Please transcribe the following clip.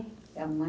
É a mãe...